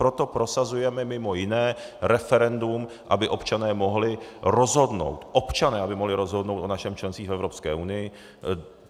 Proto prosazujeme mimo jiné referendum, aby občané mohli rozhodnout, občané aby mohli rozhodnout o našem členství v Evropské unii.